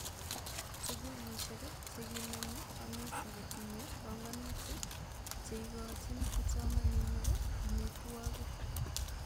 Sugulishek cheginome kanisa kotinye pongonutik cheigochin kipsomaninik amitwogik